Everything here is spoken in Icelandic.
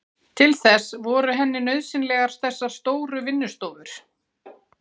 Til þess voru henni nauðsynlegar þessar stóru vinnustofur.